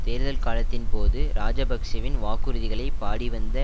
தேர்தல் காலத்தின் போது இராஜபக்ஷவின் வாக்குறுதிகளை பாடிவந்த